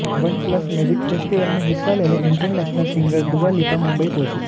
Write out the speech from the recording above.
one plus music festival में हिस्सा लेने international singer Dua Lipa Mumbai पहुंचीं